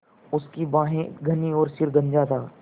उसकी भौहें घनी और सिर गंजा था